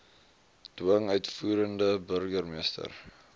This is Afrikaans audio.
dwing uitvoerende burgermeester